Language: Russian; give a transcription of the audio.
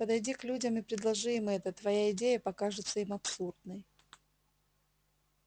подойди к людям и предложи им это твоя идея покажется им абсурдной